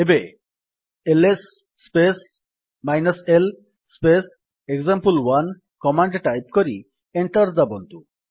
ଏବେ L S space l space example one command type କରି enter ଦାବନ୍ତୁ